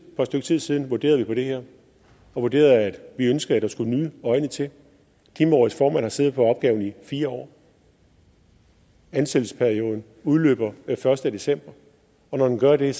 stykke tid siden vurderede vi det her og vi vurderede at vi ønsker at der skal nye øjne til klimarådets formand har siddet på opgaven i fire år ansættelsesperioden udløber den første december og når den gør det er